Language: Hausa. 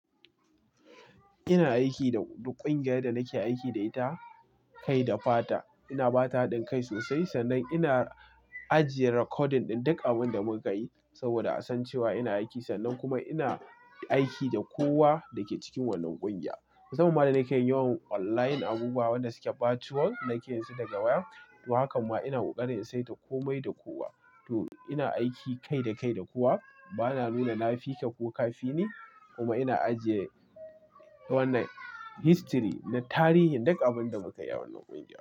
Ina aiki da ƙungiyar da nake aiki da ita kai da fata. Ina ba ta hankai sosai, sannan ina ajiye recording ɗin duk abin da mun yi saboda an san cewa ina aiki. Sannan kuma ina aiki da kowa da ke cikin wannan ƙungiya. Mamman danake yawan online abubuwa wan da suke virtual nake yin su daga waya. To, hakan ma ina ƙoƙarin sai da komai da kowa. To ina aiki kai da kai da kowa. Ba na nuna nafika ko kafini kuma ina ajiye wannan history na tarihin duk abin da muka yi a wannan ƙungiya.